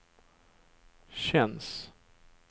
känns